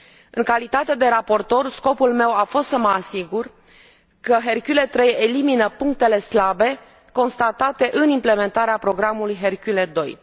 În calitate de raportor, scopul meu a fost să mă asigur că Hercule III elimină punctele slabe constatate în implementarea programului Hercule II.